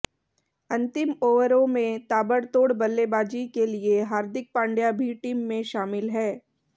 अंतिम ओवरों में ताबड़तोड़ बल्लेबाजी के लिए हार्दिक पांड्या भी टीम में शामिल हैं